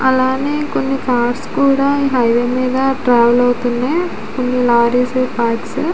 అలానె కొన్ని కార్స్ కూడా ఈ హైవే మీద ట్రావెల్ అవుతున్నాయ్ కొన్ని లారీస్ కార్స్ --